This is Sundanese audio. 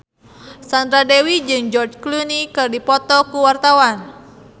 Sandra Dewi jeung George Clooney keur dipoto ku wartawan